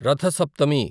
Ratha Saptami